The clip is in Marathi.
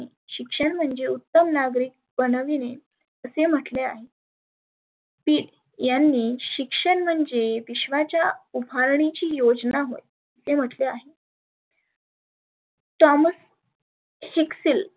शिक्षण म्हणजे उत्तम नागरीक बनविने असे म्हटले आहे. पीग यांनी शिक्षण म्हणजे विश्वाच्या उभारणीची योजना होय, ते म्हटले आहे. thomas Shikshil